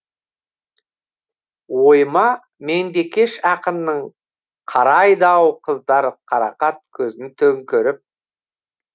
ойыма меңдекеш ақынның қарайды ау қыздар қарақат көзін төңкеріп